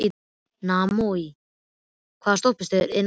Naómí, hvaða stoppistöð er næst mér?